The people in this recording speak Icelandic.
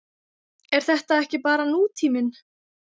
Er þetta ekki bara nútíminn?